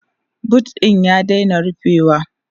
boot ɗin ya daina rufewa